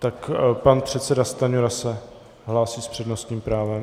Tak pan předseda Stanjura se hlásí s přednostním právem.